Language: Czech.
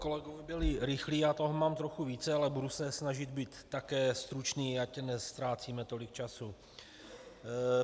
Kolegové byli rychlí, já toho mám trochu více, ale budu se snažit být také stručný, ať neztrácíme tolik času.